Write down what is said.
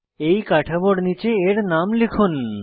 এই কাঠামোর নীচে এর নাম লিখুন